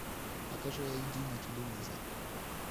покажи ай ди на телевизоре